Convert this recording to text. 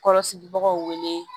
Kɔlɔsibagaw wele